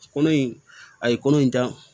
Kolo in a ye kolo in dan